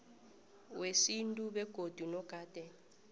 wesintu begodu nogade